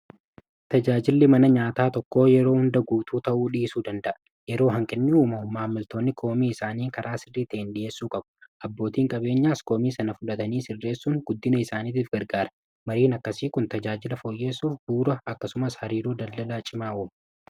Tajaajilli mana nyaataa tokko yeroo hunda guutuu ta'uu dhiisuu danda'a. Yeroo hanqinni uumamu maamiltoonni komii isaanii karaa sirrii ta'een dhi'eessuu qabu. Abbootiin qabeenyaas koomii sana fudhatanii sirreessuun guddina isaaniitiif gargaareera. Mariin akkasii kun tajaajila foyyeessuuf bu'uura. Akkasumas hariiroo daldalaa cimaa uuma.